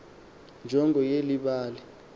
njongo yeli bali